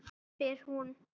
spyr hún.